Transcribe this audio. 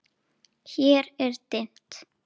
Hér er dimmt.